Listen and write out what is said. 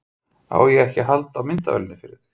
Á ég ekki að halda á myndavélinni fyrir þig?